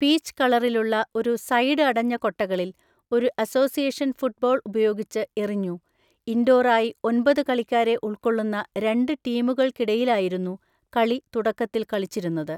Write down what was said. Peach കളറിലുള്ള ഒരു side അടഞ്ഞ കൊട്ടകളിൽ, ഒരു അസോസിയേഷൻ ഫുട്ബോൾ ഉപയോഗിച്ച്എറിഞ്ഞു, ഇൻഡോർ ആയി ഒൻപത് കളിക്കാരെ ഉൾക്കൊള്ളുന്ന രണ്ട് ടീമുകൾക്കിടയിലായിരുന്നു കളി തുടക്കത്തിൽ കളിച്ചിരുന്നത്.